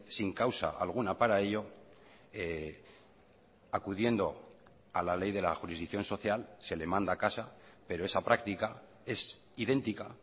sin causa alguna para ello acudiendo a la ley de la jurisdicción social se le manda a casa pero esa práctica es idéntica